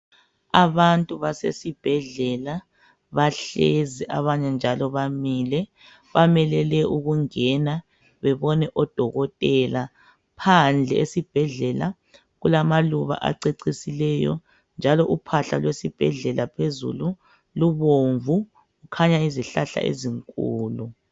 Abantu basesibhedlela bahlezi abanye njalo bamile .Bamelele ukungena bebone odokotela. Phandle esibhedlela kulamaluba acecisileyo njalo uphahla lwesibhedlela phezulu lubomvu . Kukhanya izihlahla ezinkulu.